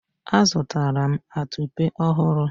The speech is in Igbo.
azụtara m atupe ọhụrụ